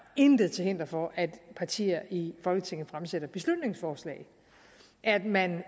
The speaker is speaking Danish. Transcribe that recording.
intet til hinder for at partier i folketinget fremsætter beslutningsforslag man